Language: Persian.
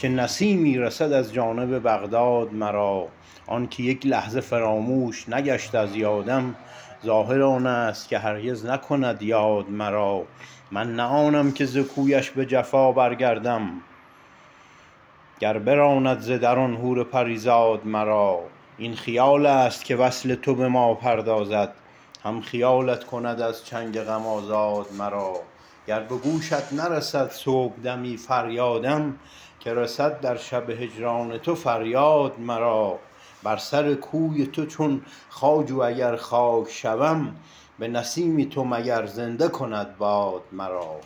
که نسیمی رسد از جانب بغداد مرا آنک یک لحظه فراموش نگشت از یادم ظاهر آنست که هرگز نکند یاد مرا من نه آنم که ز کویش بجفا برگردم گر براند ز در آن حور پریزاد مرا این خیالست که وصل تو بما پردازد هم خیالت کند از چنگ غم آزاد مرا گر بگوشت نرسد صبحدمی فریادم که رسد در شب هجران تو فریاد مرا بر سر کوی تو چون خواجو اگر خاک شوم بنسیم تو مگر زنده کند باد مرا